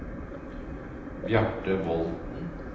Bjarte Volden